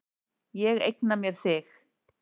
Ég eigna mér þig.